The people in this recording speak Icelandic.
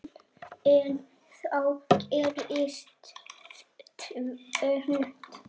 En þá gerist tvennt.